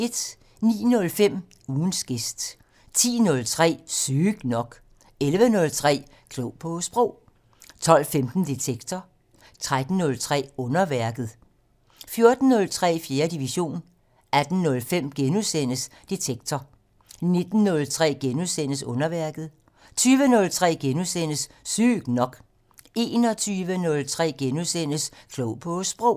09:05: Ugens gæst 10:03: Sygt nok 11:03: Klog på Sprog 12:15: Detektor 13:03: Underværket 14:03: 4. division 18:05: Detektor * 19:03: Underværket * 20:03: Sygt nok * 21:03: Klog på Sprog *